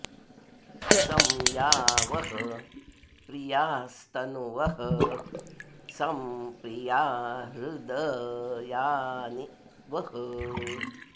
सं या वः॑ प्रि॒यास्त॒नुवः॒ सं प्रि॒या हृद॑यानि वः